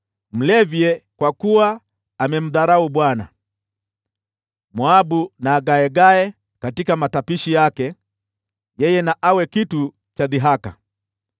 “Mlevye, kwa kuwa amemdharau Bwana . Moabu na agaegae katika matapishi yake, yeye na awe kitu cha dhihaka.